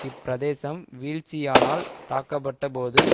இப்பிரதேசம் வீழ்ச்சியானால் தாக்கப்பட்ட போது